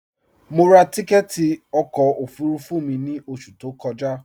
Mọ rá tìkẹtì ọkọ ofurufu mi ni oṣù tó kọja.